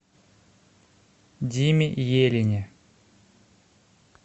диме елине